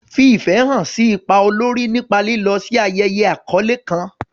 Fi ìfẹ́ hàn sí ipa olórí nípa lílọ sí ayẹyẹ àkọ́lé tó kàn.